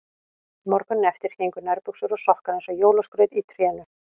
Morguninn eftir héngu nærbuxur og sokkar eins og jólaskraut í trénu.